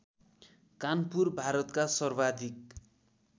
कानपुर भारतका सर्वाधिक